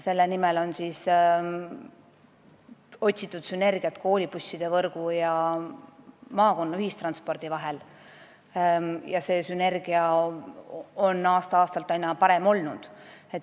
Selle nimel on otsitud sünergiat koolibusside võrgu ja maakonna ühistranspordi vahel ja see sünergia on aasta-aastalt aina parem olnud.